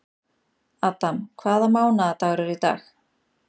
Adam, hvaða mánaðardagur er í dag?